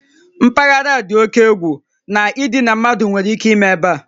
Mpaghara a dị oke egwu na idina mmadụ nwere ike ime ebe a